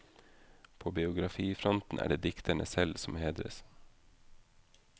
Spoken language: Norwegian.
På biografifronten er det dikterne selv om hedres.